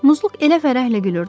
Muzluq elə fərəhlə gülürdü.